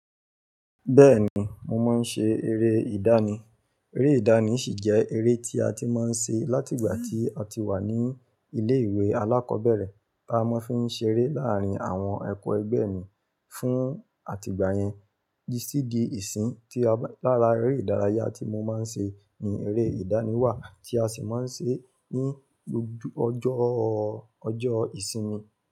Bẹ́ẹ̀ni, mo máa ń ṣe eré ìdánì. Eré ìdánì sì jẹ́ eré tí a ti máa ń ṣe láti ìgbà tí a ti wà ní ilé ìwé alákọ̀ọ́bẹ̀rẹ̀. Bá máa fi ń ṣe eré láàárín àwọn ekẹgbẹ́ mii fún àtìgbà yẹn titi di ìsìn lára eré ìdárayá tí mo máa ń ṣe ni eré ìdánì wà tí a sì máa ń ṣe ní gbogbo ọjọ́, ọjọ́ ìsinmi.